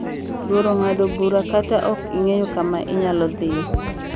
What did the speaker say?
Luoro ng’ado bura kata ok ing’eyo kama inyalo dhie.